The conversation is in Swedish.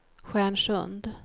Stjärnsund